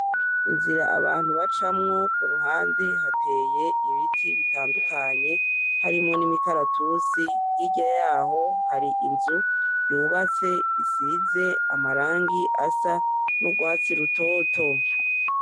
Inzira abantu bacamwo, kuruhande hateye ibiti bitandukanye harimwo n'imikaratusi hirya yaho hari inzu yubatse isize amarangi asa n'urwatsi rutoto.